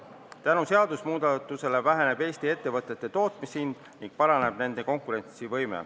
Tänu seadusemuudatusele väheneb Eesti ettevõtete tootmishind ning paraneb nende konkurentsivõime.